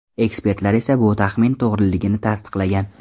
Ekspertlar esa bu taxmin to‘g‘riligini tasdiqlagan.